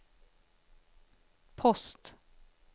post